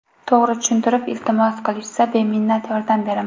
To‘g‘ri tushuntirib iltimos qilishsa, beminnat yordam beraman.